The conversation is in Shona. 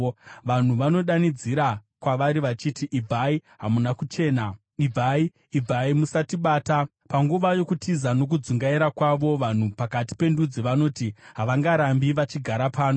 Vanhu vanodanidzira kwavari vachiti, “Ibvai! Hamuna kuchena! Ibvai! Ibvai! Musatibata!” Panguva yokutiza nokudzungaira kwavo, vanhu pakati pendudzi vanoti, “Havangarambi vachigara pano.”